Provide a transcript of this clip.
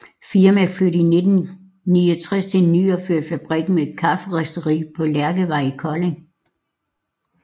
Firmaet flyttede i 1969 til en nyopført fabrik med kafferisteri på Lærkevej i Kolding